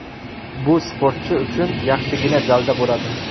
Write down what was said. Bu sportchi uchun yaxshigina dalda bo‘ladi.